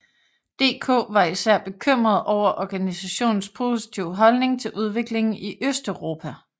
DK var især bekymret over organisationens positive holdning til udviklingen i Østeuropa